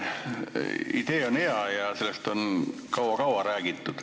Idee on hea ja sellest on kaua-kaua räägitud.